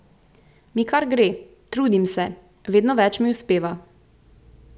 Mi kar gre, trudim se, vedno več mi uspeva.